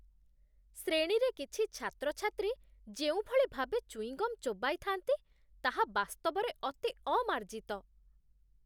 ଶ୍ରେଣୀରେ କିଛି ଛାତ୍ରଛାତ୍ରୀ ଯେଉଁଭଳି ଭାବେ ଚୁଇଙ୍ଗମ୍ ଚୋବାଇଥାନ୍ତି, ତାହା ବାସ୍ତବରେ ଅତି ଅମାର୍ଜିତ।